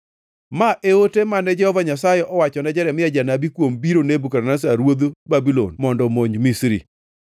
Ma e ote mane Jehova Nyasaye owachone Jeremia janabi kuom biro Nebukadneza ruodh Babulon mondo omonj Misri: